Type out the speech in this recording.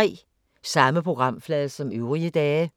Samme programflade som øvrige dage